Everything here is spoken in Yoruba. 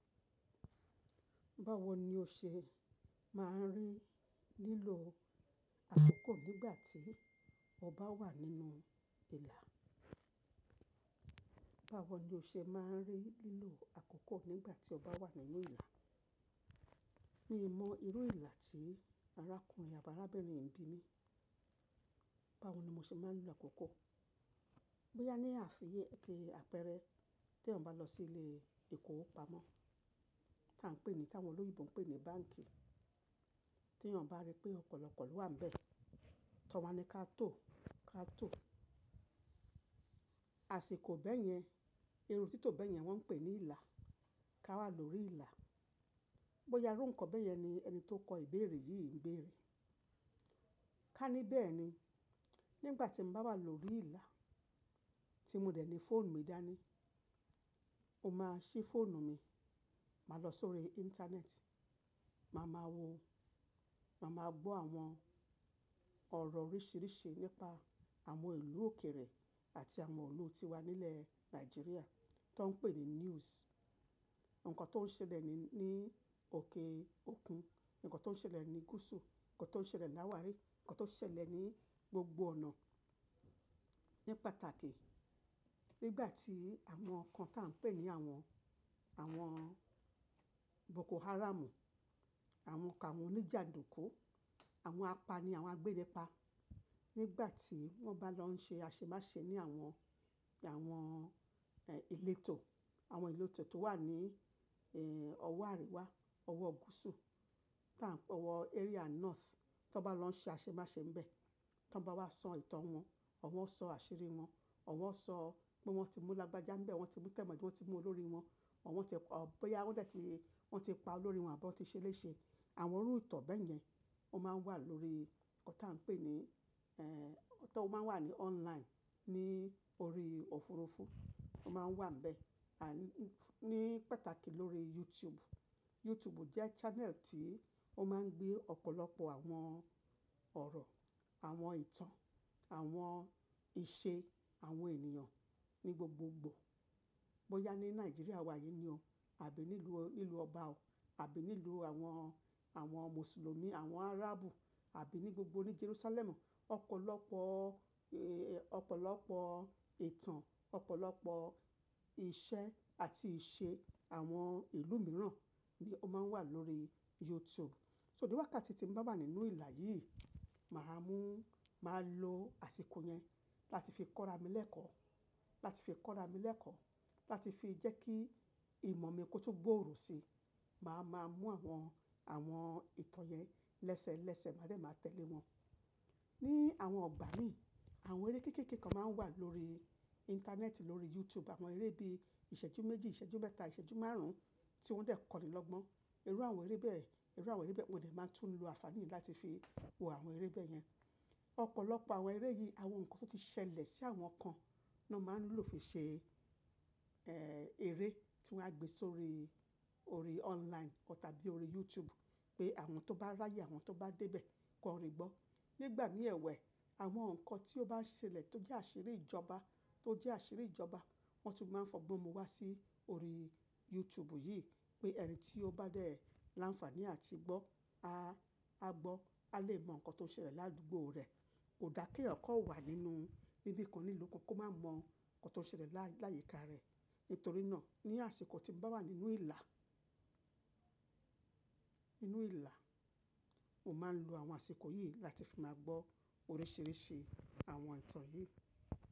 Báwo ni o ṣe máa ń rí lílo àkókò nígbà tí o bá wà nínú ìlà? Báwo ni o ṣe máa ń rí lílo àkókò nígbà tí o bá wà nínú ìlà? Mi mọ irú ìlà tí arákùnrin àbi arábìnrin ń bí mi. Báwo ni mo ṣe máa ń lo àkókò? Bóyá ní àfiyè, kí a pẹrẹ, tí wọn bá lọ sí ilé ìkówopamọ́, tí à ń pè ní, tí àwọn olóyèbo ń pè ní báǹkì. Tí yan bá rí pé ọ̀pọ̀lọpọ̀ ló wà ńbẹ. Tọwa ní ká tó, ká tó. Àsìkò bẹ́ẹ̀ yẹn, irú títọ́ bẹ́ẹ̀ yẹn wọ́n ń pè ní ìlà. Ká wà lórí ìlà. Bóyá irú nǹkan bẹ́ẹ̀ yẹn ni ẹni tó kọ ìbéèrè yìí ń béèrè. Ká ní bẹ́ẹ̀ ni, nígbà tí mo bá wà lórí ìlà, tí mo dẹ̀ ní fóònù mi dání, mo máa ṣí fóònù mi. Màá lọ sórí Íńtánẹ́ẹ̀tì, màá máa wo, màá máa gbọ́ àwọn ọ̀rọ̀ oríṣìíríṣìí nípa àwọn ìlú òkèèrè àti àwọn ìlú tí wà nílẹ̀ Nàìjíríà tó ń pè ní News. Nǹkan tó ń ṣẹlẹ̀ ní, ní òkè òkun, nǹkan tó ń ṣẹlẹ̀ ní gúúsù, nǹkan tó ń ṣẹlẹ̀ láwàárí, nǹkan tó ń ṣẹlẹ̀ ní gbogbo ọ̀nà. Ní pàtàkì, nígbà tí àwọn nǹkan tí à ń pè ní àwọn, àwọn Boko Haram, àwọn kan, àwọn oníjàdùku, àwọn apani, àwọn agbẹ́lẹ̀pa. Nígbà tí wọ́n bá lọ ń ṣe aṣemáṣe ní àwọn, àwọn, ẹ́, ìletò, àwọn ìletò tó wà ní, ẹ́, ọwọ́ àríwá, ọwọ́ gúúsù tí à ń-- ọwọ́ Area North. Tí wọ́n bá lọ ń ṣe aṣemáṣe ńbẹ, tí wọ́n bá wá sọ ìtàn wọn, ọ̀wọ́n sọ àṣírí wọn, ọ̀wọ́n sọ pé wọ́n ti mú lágbájá ńbẹ, wọ́n ti mú tẹ̀mọ́jáde, wọ́n ti mú olórí wọn, ọ̀wọ́n ti pa ọ́, bóyá wọ́n dẹ̀ ti, wọ́n ti pa olórí wọn àbọ́ tí ṣe léṣe. Àwọn irú ìtàn bẹ́ẹ̀ yẹn, ó máa ń wà lórí nǹkan tí à ń pè ní, ẹ́, tó máa ń wà ní online, ní orí òfurufú. Ó máa ń wà ńbẹ. Àní, ní pàtàkì lórí YouTube. YouTube jẹ́ channel tí ó máa ń gbé ọ̀pọ̀lọpọ̀ àwọn ọ̀rọ̀, àwọn ìtàn, àwọn ìṣe àwọn ènìyàn ní gbogbogbò. Bóyá ní Nàìjíríà wa yìí ni o, àbí nílùú, nílùú ọba o, àbí nílùú àwọn, àwọn Mùsùlùmí, àwọn Áràbù àbí ní gbogbo ní Jerúsálẹ́mù. Ọ̀pọ̀lọpọ̀, ẹ́, ọ̀pọ̀lọpọ̀ ìtàn, ọ̀pọ̀lọpọ̀ ìṣe àti ìṣe àwọn ìlú mìíràn ni ó máa ń wà lórí YouTube. So níwá ká tí mo bá wà nínú ìlà yìí, màá mú, màá lo àsìkò yẹn láti fi kọ́ra mi lẹ́kọ̀ọ́, láti fi kọ́ra mi lẹ́kọ̀ọ́, láti fi jẹ́ kí ìmọ̀ mi kó tu gbòòrò si. Màá máa mú àwọn, àwọn ìtàn yẹn lẹ́sẹ́lẹ́sẹ̀, màá dẹ̀ máa tẹ̀lé wọn. Ní àwọn ọgbà mi, àwọn eré kéékèèké kan máa ń wà lórí Íńtánẹ́ẹ̀tì, lórí YouTube. Àwọn eré bí i ìṣẹ́jú méjì, ìṣẹ́jú mẹ́ta, ìṣẹ́jú márùn-ún tí wọ́n dẹ̀ kọ́ni lọ́gbọ́n. Irú àwọn eré bẹ́ẹ̀, irú àwọn eré bẹ́ẹ̀ mo dẹ̀ máa ń tún lo àfààní láti fi wo àwọn eré bẹ́ẹ̀ yẹn. Ọ̀pọ̀lọpọ̀ àwọn eré yìí, àwọn nǹkan tó ti ṣẹlẹ̀ sí àwọn kan ni wọ́n máa ń lò fi ṣe, ẹ́, eré tí wọ́n á gbe sórí orí online tàbí orí YouTube pé àwọn tó bá ráyè, àwọn tó bá dé bẹ́ẹ̀ kọ́ orin gbọ́. Nígbà mìíràn ẹ̀wẹ́, àwọn nǹkan tí ó bá ṣẹlẹ̀ tó jẹ́ àṣírí ìjọba, tó jẹ́ àṣírí ìjọba, wọ́n tún máa ń fọgbọ́n mu wá sí orí YouTube yìí pé ẹni tí ó bá dẹ̀ láǹfààní àti gbọ́, a, a gbọ́, a lè mọ nǹkan tó ń ṣẹlẹ̀ ládùúgbò rẹ̀. Kò da kí èèyàn kó wà nínú ibi kan nílùú kan kó má mọ nǹkan tó ń ṣẹlẹ̀ lá, láyìíká rẹ̀. Nítorí náà, ní àsìkò tí mo bá wà nínú ìlà, nínú ìlà, mo máa ń lo àwọn àsìkò yìí láti fi máa gbọ́ oríṣìíríṣìí àwọn ìtàn yìí.